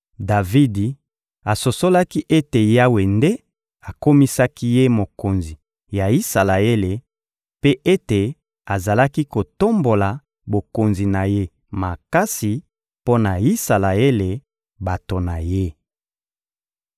Davidi asosolaki ete Yawe nde akomisaki ye mokonzi ya Isalaele mpe ete azalaki kotombola bokonzi na ye makasi mpo na Isalaele, bato na Ye.